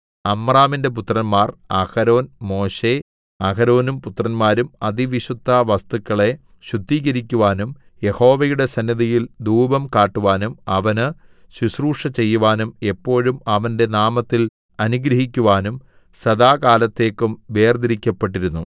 അമ്രാമിന്റെ പുത്രന്മാർ അഹരോൻ മോശെ അഹരോനും പുത്രന്മാരും അതിവിശുദ്ധവസ്തുക്കളെ ശുദ്ധീകരിക്കുവാനും യഹോവയുടെ സന്നിധിയിൽ ധൂപം കാട്ടുവാനും അവന് ശുശ്രൂഷ ചെയ്യുവാനും എപ്പോഴും അവന്റെ നാമത്തിൽ അനുഗ്രഹിക്കുവാനും സദാകാലത്തേക്കും വേർതിരിക്കപ്പെട്ടിരുന്നു